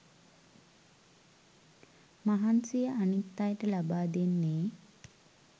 මහන්සිය අනිත් අයට ලබා දෙන්නෙ